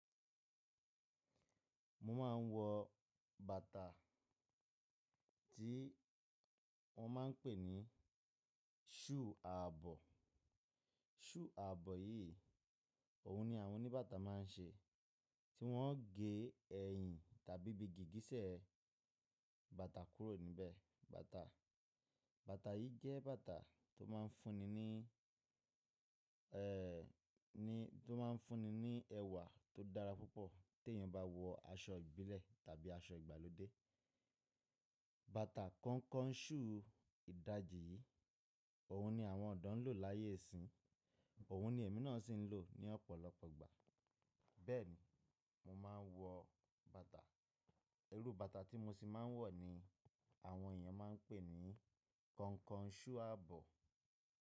Mo máa ń wọ bàtà tí wọ́n máa ń pè ní ṣúu ààbọ̀. Ṣúu ààbọ̀ yìí, òun ni àwọn oníbàtà máa ń ṣe, tí wọ́n ó gé ẹ̀yìn tàbí gígísẹ̀ bàtà kúrò níbẹ̀. Bàtà, bàtà yìí jẹ́ bàtà tó máa ń fúnni ní, ní, tó máa ń fúnni ní ẹwà tó dára púpọ̀ tí èèyàn bá wọ aṣọ ìbílẹ̀ tàbí aṣọ ìgbàlódé. Bàtà kọnkọṣú ìdajì yìí, òun ni àwọn ọ̀dọ́ ń lò láyé ìsín, òun ni èmi náà sì ń lò ní ọ̀pọ̀lọpọ̀ ìgbà. Bẹ́ẹ̀ni, mo máa ń wọ bàtà. Irú bàtà tí mo sì máa ń wọ̀ ni àwọn èèyàn máa ń pè ní kọnkọṣú àbọ̀